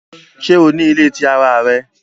Ṣe o ni ile ti ara rẹ?